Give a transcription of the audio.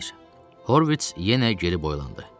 Horvits yenə geri boylandı.